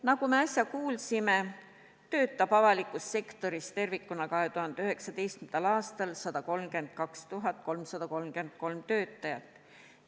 Nagu me äsja kuulsime, töötab avalikus sektoris tervikuna 2019. aastal 132 333 töötajat.